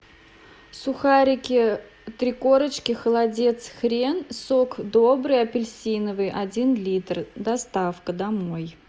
сухарики три корочки холодец хрен сок добрый апельсиновый один литр доставка домой